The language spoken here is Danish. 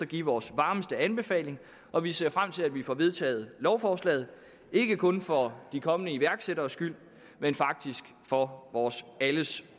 give vores varmeste anbefaling og vi ser frem til at vi får vedtaget lovforslaget ikke kun for de kommende iværksætteres skyld men faktisk for vores alles